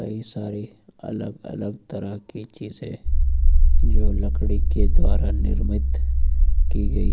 कई सारी अलग अलग तरह की चीजे जो लकड़ी के द्वारा निर्मित की गई हैं।